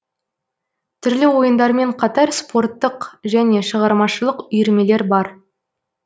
түрлі ойындармен қатар спорттық және шығармашылық үйірмелер бар